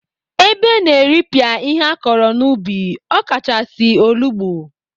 Ebe na-eripịa ihe akọrọ n'ubi ọkachasị, olugbo.